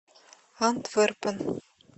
антверпен